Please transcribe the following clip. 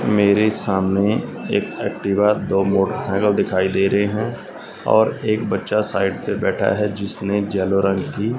मेरे सामने एक एक्टिवा दो मोटरसाइकिल दिखाई दे रहे हैं और एक बच्चा साइड पे बैठा है जिसने येलो रंग की --